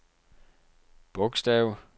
bogstav